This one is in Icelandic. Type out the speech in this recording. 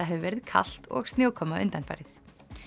hefur verið kalt og snjókoma undanfarið